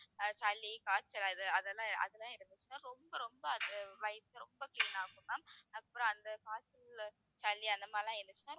அஹ் சளி, காய்ச்சல் அது அதெல்லாம் அதெல்லாம் இருந்துச்சுன்னா ரொம்ப ரொம்ப அது வயித்தை ரொம்ப clean ஆக்கும் ma'am அப்புறம் அந்த காய்ச்சல், சளி அந்த மாதிரி எல்லாம் இருந்துச்சுன்னா